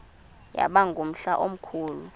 yaba ngumhla omkhulu